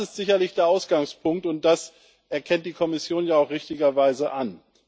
Das ist sicherlich der Ausgangspunkt, und das erkennt die Kommission ja auch richtigerweise an.